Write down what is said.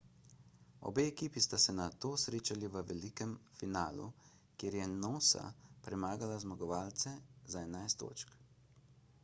obe ekipi sta se nato srečali v velikem polfinalu kjer je noosa premagala zmagovalce za 11 točk